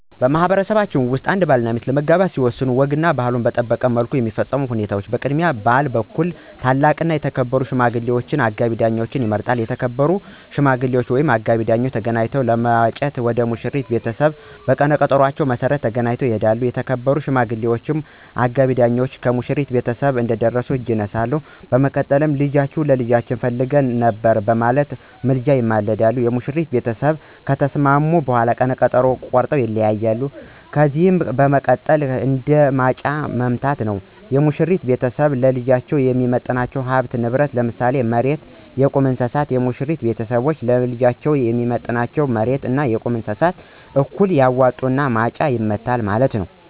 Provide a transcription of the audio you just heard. በማህበረሰባችን ውስጥ አንድ ባልና ሚስት ለመጋባት ሲወስኑ ወጉና ባህሉን በጠበቀ መልኩ የሚፈጸሙ ሁነቶች፦ በቅድሚያ በባል በኩል ታላቅና የተከበሩ ሽማግሌ ወይም አጋቢ ዳኛ ይመረጣሉ። የተከበሩ ሽማግሌወች ወይም አጋቢ ዳኛወች ተገናኝተው ለማጨት ወደ ሙሽራይቱ ቤተሰቦች በቀነ ቀጠኖአቸው መሰረት ተገናኝተው ይሄዳሉ። የተከበሩ ሽማግሌወች ወይም አጋቢ ዳኛወች ከሙሽራይቱ ቤተሰቦች ቤት እንደደረሱ እጅ ይነሳሉ። በመቀጠልም ልጃችሁን ለልጃችን ፈልገን ነበር በማለት ምልጃ ይማለዳሉ። የሙሽራይቱ ቤተሰቦች ከተስማሙ ቀነ ቀጠኖ ተቆርጦ ይለያያሉ። ከዚህ በመቀጠል ደግሞ ማጫ መማታት ነዉ፤ የሙሽራው ቤተሰብ ለልጃቸው የሚሰጡት ሀብትና ንብረት ለምሳሌ መሬት አና የቁም እንስሳት እና የሙሽራይቱ ቤተሰቦችም ለልጃቸው የሚሰጡ እንደ መሬት አና የቁም እንስሳት እኩል ያዋጡና ማጫ ይማታሉ ማለት ነዉ።